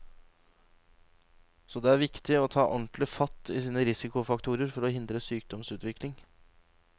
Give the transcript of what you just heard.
Så er det viktig å ta ordentlig fatt i sine risikofaktorer, for å hindre sykdomsutvikling.